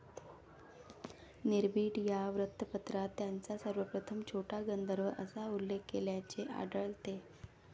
निर्भीड या वृत्तपत्रात त्यांचा सर्वप्रथम छोटा गंधर्व असा उल्लेख केल्याचे आढलते.